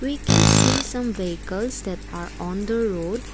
we can see some vehicles that are on the road.